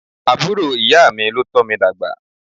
Àbúrò ìyá mi ló tómi dàgbà.